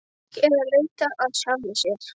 Fólk er að leita að sjálfu sér.